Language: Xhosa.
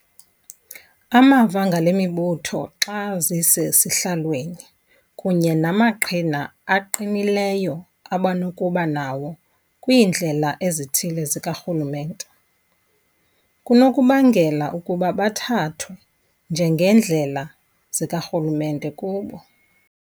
Amava ngalemibutho xa zisesihlalweni, kunye namaqhina aqinileyo abanokuba nawo kwiindlela ezithile zikarhulumente, kunokubangela ukuba bathathwe njengeendlela zikarhulumente kubo.